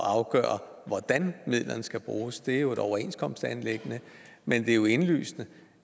at afgøre hvordan midlerne skal bruges det er jo et overenskomstanliggende men det er jo indlysende